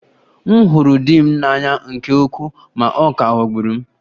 M hụrụ di m n'anya nke ukwuu ma ọ ka ghọgburu m